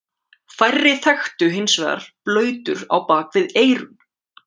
Færri þekktu hins vegar blautur á bak við eyrun.